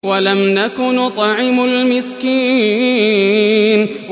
وَلَمْ نَكُ نُطْعِمُ الْمِسْكِينَ